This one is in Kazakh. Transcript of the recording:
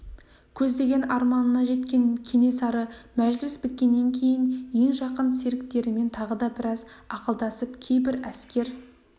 көздеген арманына жеткен кенесары мәжіліс біткеннен кейін ең жақын серіктерімен тағы да біраз ақылдасып кейбір әскер